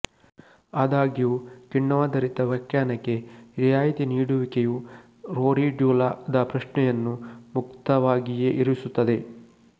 ಆದಾಗ್ಯೂ ಕಿಣ್ವಾಧಾರಿತ ವ್ಯಾಖ್ಯಾನಕ್ಕೆ ರಿಯಾಯಿತಿ ನೀಡುವಿಕೆಯು ರೋರಿಡ್ಯುಲಾ ದ ಪ್ರಶ್ನೆಯನ್ನು ಮುಕ್ತವಾಗಿಯೇ ಇರಿಸುತ್ತದೆ